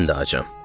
Mən də acam.